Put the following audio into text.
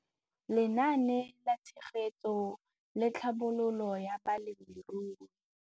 Lenaane la Tshegetso le Tlhabololo ya Balemirui